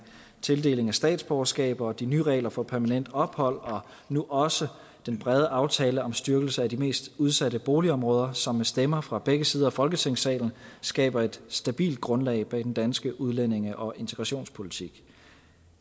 tildeling af statsborgerskab og de nye regler for permanent ophold og nu også den brede aftale om styrkelse af de mest udsatte boligområder som med stemmer fra begge sider af folketingssalen skaber et stabilt grundlag for den danske udlændinge og integrationspolitik